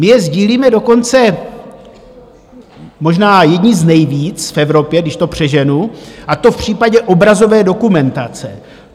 My je sdílíme dokonce možná jedni z nejvíc v Evropě, když to přeženu, a to v případě obrazové dokumentace.